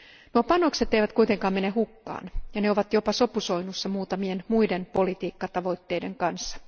Nuo panokset eivät kuitenkaan mene hukkaan ja ne ovat jopa sopusoinnussa muutamien muiden politiikkatavoitteiden kanssa.